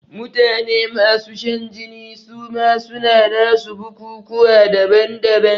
Mutane masu shan jini suma suna nasu bukukuwa daban daban